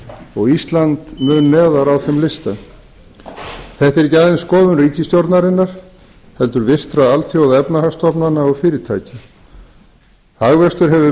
og ísland mun neðar á þeim lista þetta er ekki aðeins skoðun ríkisstjórnarinnar heldur virtra alþjóðaefnahagsstofnana og fyrirtækja hagvöxtur hefur verið